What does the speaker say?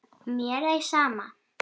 Mér ei sama.